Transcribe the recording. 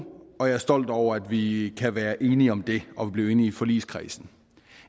og jeg er stolt over at vi kan være enige om det og at vi blev enige i forligskredsen